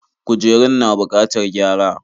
Kujerun na bukatar gyara.